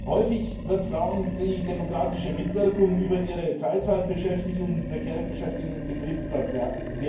Häufig wird Frauen die demokratische Mitwirkung in Bezug auf ihre Teilzeitbeschäftigung und prekäre Beschäftigung in Betrieben verwehrt.